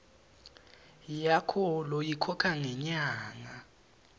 yakho loyikhokha ngenyanga